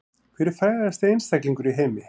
Hver er frægasti einstaklingur í heimi